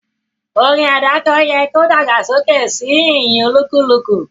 Orin àdáko yẹ ki o dàgbàsókè si ìyìn olúkúlùkù